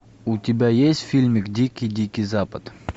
у тебя есть фильмик дикий дикий запад